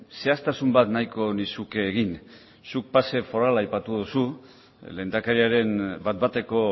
zehaztasun bat nahiko nizuke egin zuk pase forala aipatu duzu lehendakariaren bat bateko